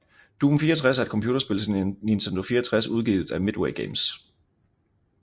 Doom 64 er et computerspil til Nintendo 64 udgivet af Midway Games